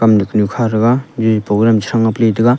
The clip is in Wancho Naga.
nuk nyu kha thega jaji program che thang nga pe le tega.